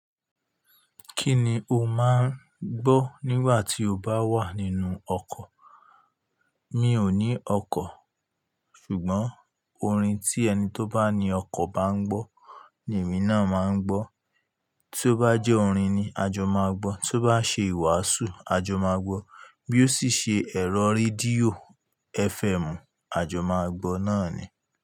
Kíni o máà ń gbọ́ nígbà tí o bá wà nínú ọkọ̀? Mi ò ní ọkọ̀, ṣùgbọ́n orin tí ẹni tó bá ní ọkọ̀ bá ń gbọ́ ni èmi náà máa ń gbọ́. Tí ó bá jẹ́ orin ni a jọ máa gbọ́, tí ó bá ṣe ìwàásù, a jọ máa gbọ́, bí ó sì ṣe ẹ̀rọ rédíò FM, a jọ máa gbọ́ náà ni.